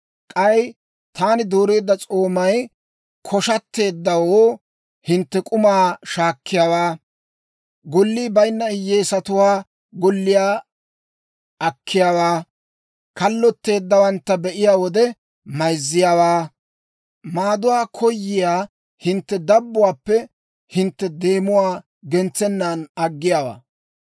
K'ay taani dooreedda s'oomay koshshatteeddawoo hintte k'umaa shaakkiyaawaa, gollii bayinna hiyyeesatuwaa golliyaa akkiyaawaa, kallotteeddawantta be'iyaa wode, mayzziyaawaa, maaduwaa koyiyaa hintte dabbuwaappe hintte deemuwaa gentsennan aggiyaawaa.